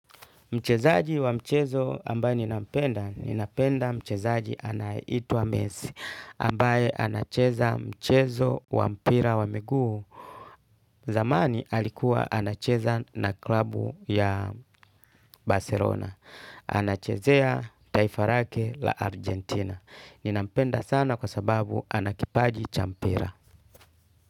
Mchezaji wa mchezo ambaye ninapenda, ninapenda mchezaji anayeitwa mesi ambaye anacheza mchezo wa mpira wa miguu. Zamani alikuwa anacheza na klabu ya Barcelona. Anachezea taifa lake la Argentina. Ninampenda sana kwa sababu anakipaji cha mpira.